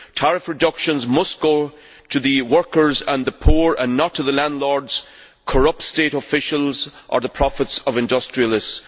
Tariff reductions must go to the workers and the poor and not to the landlords, corrupt state officials or the profits of industrialists.